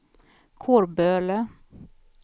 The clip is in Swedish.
Kårböle